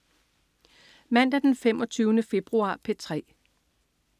Mandag den 25. februar - P3: